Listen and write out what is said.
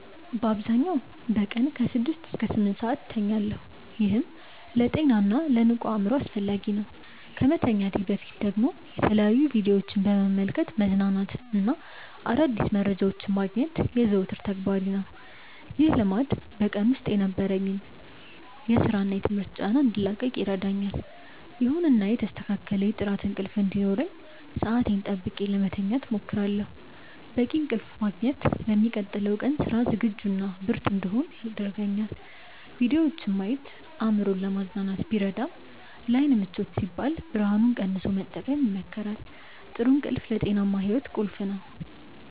በአብዛኛው በቀን ከ6 እስከ 8 ሰዓት እተኛለሁ፤ ይህም ለጤናና ለንቁ አእምሮ አስፈላጊ ነው። ከመተኛቴ በፊት ደግሞ የተለያዩ ቪዲዮዎችን በመመልከት መዝናናትና አዳዲስ መረጃዎችን ማግኘት የዘወትር ተግባሬ ነው። ይህ ልማድ በቀን ውስጥ ከነበረኝ የሥራና የትምህርት ጫና እንድላቀቅ ይረዳኛል። ይሁንና የተስተካከለ የጥራት እንቅልፍ እንዲኖረኝ ሰዓቴን ጠብቄ ለመተኛት እሞክራለሁ። በቂ እንቅልፍ ማግኘት ለሚቀጥለው ቀን ስራ ዝግጁና ብርቱ እንድሆን ያደርገኛል። ቪዲዮዎችን ማየት አእምሮን ለማዝናናት ቢረዳም፣ ለዓይን ምቾት ሲባል ብርሃኑን ቀንሶ መጠቀም ይመከራል። ጥሩ እንቅልፍ ለጤናማ ሕይወት ቁልፍ ነው።